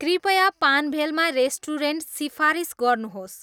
कृपया पान्भेलमा रेस्टुरेन्ट सिफारिस गर्नुहोस्